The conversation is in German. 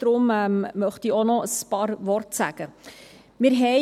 Deshalb möchte ich noch ein paar Worte dazu sagen.